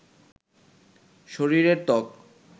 শরীরের ত্বক